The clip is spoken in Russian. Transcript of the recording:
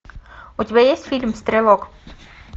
у тебя есть фильм стрелок